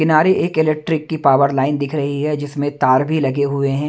किनारे एक इलेक्ट्रिक की पावर लाइन दिख रही है जिसमें तार भी लगे हुए है।